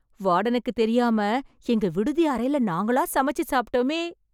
வார்டனுக்கு தெரியாம, எங்க விடுதி அறையில நாங்களா சமைச்சு சாப்ட்டோமே...